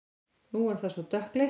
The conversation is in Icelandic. Nú er það svona dökkleitt!